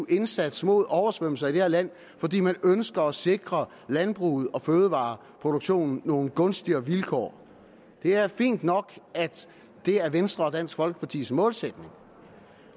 indsats mod oversvømmelser i det her land fordi man ønsker at sikre landbruget og fødevareproduktionen nogle gunstigere vilkår det er fint nok at det er venstre og dansk folkepartis målsætning